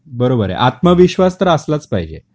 बरोबर आहे. आत्मविश्वास तर असलाच पाहिजे.